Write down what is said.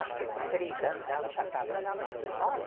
Acho que com três anos ela já estava na pré-escola.